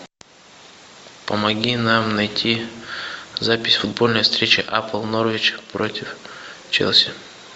помоги нам найти запись футбольной встречи апл норвич против челси